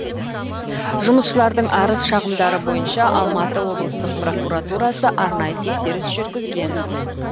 жұмысшылардың арыз шағымдары бойынша алматы облыстық прокуратурасы арнайы тексеріс жүргізген